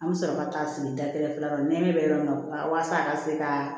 An bɛ sɔrɔ ka taa feere dakɛrɛ fila nɛmɛ yɔrɔ min na walasa a ka se ka